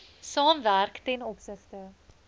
saamwerk ten opsigte